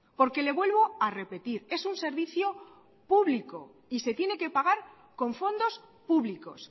porque le vuelvo a repetir es un servicio público y se tiene que pagar con fondos públicos